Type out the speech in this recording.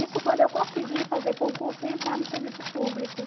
Isso quando eu consegui fazer concurso e entrar no serviço público.